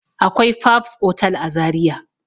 Akwai fabs otal a zaria